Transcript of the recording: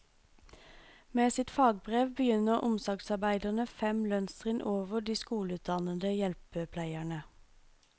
Med sitt fagbrev begynner omsorgsarbeiderne fem lønnstrinn over de skoleutdannede hjelpepleierne.